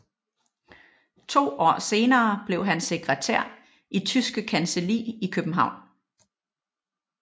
To år senere blev han sekretær i Tyske Kancelli i København